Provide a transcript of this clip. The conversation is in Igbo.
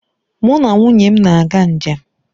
Mụ na nwunye m na-aga njem